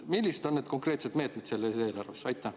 Millised on need konkreetsed meetmed selles eelarves?